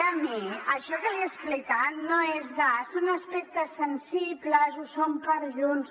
i a mi això que li he explicat no és de són aspectes sensibles ho són per a junts